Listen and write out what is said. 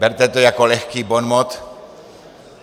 Berte to jako lehký bonmot.